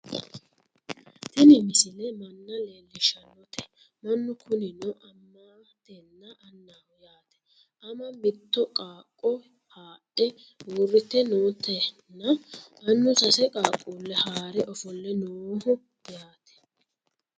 tini misile manna leellishshannote mannu kunino amatenna annaho yaate ama mitto qaaqqo haadhe uurrrite nootenna annu sase qaaqquulle haare ofolle nooho yaate